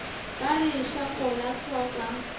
ba re šako la hloka